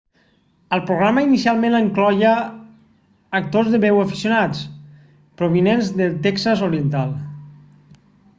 el programa inicialment incloïa actors de veu aficionats provinents del texas oriental